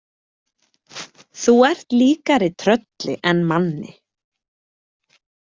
Þú ert líkari trölli en manni.